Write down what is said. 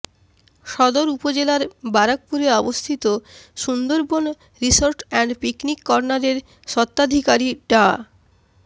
সদর উপজেলার বারাকপুরে অবস্থিত সুন্দরবন রিসোর্ট অ্যান্ড পিকনিক কর্নারের স্বত্বাধিকারী ডা